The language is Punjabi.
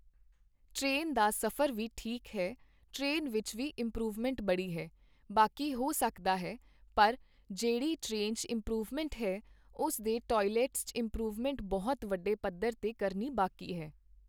ਟਰੇਨ ਦਾ ਸਫ਼ਰ ਵੀ ਠੀਕ ਹੈ, ਟਰੇਨ ਵਿੱਚ ਵੀ ਇੰਮਪਰੂਵਮੈਂਟ ਬੜੀ ਹੈ, ਬਾਕੀ ਹੋ ਸਕਦਾ ਹੈ, ਪਰ ਜਿਹੜੀ ਟਰੇਨ 'ਚ ਇੰਮਪਰੂਵਮੈਂਟ ਹੈ, ਉਸ ਦੇ ਟੋਏਲੈਟਸ 'ਚ ਇੰਮਪਰੂਵਮੈਂਟ ਬਹੁਤ ਵੱਡੇ ਪੱਧਰ 'ਤੇ ਕਰਨੀ ਬਾਕੀ ਹੈ